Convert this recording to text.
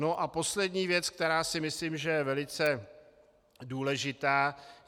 No a poslední věc, která si myslím, že je velice důležitá.